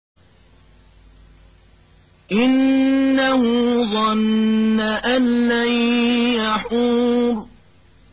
إِنَّهُ ظَنَّ أَن لَّن يَحُورَ